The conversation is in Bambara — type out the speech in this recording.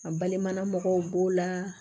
A balima mɔgɔw b'o la